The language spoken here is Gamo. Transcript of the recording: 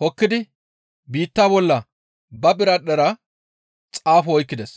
hokkidi biitta bolla ba biradhdhera xaafo oykkides.